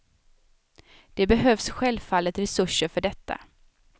Det behövs självfallet resurser för detta.